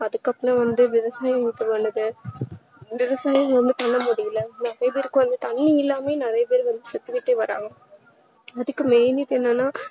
அதுக்கு அப்புறம் வந்து விவசாயத்துக்கு வந்துட்ட விவசாயம் எதுமே பண்ண முடியல நிறைய பேருக்கு தண்ணி இல்லாமலே நிறைய பேரு செத்துகிட்டு வராங்க அதுக்கு main reason என்னனா